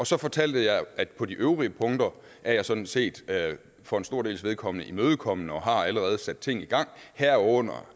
så fortalte jeg at på de øvrige punkter er jeg sådan set for en stor dels vedkommende imødekommende og har allerede sat ting i gang herunder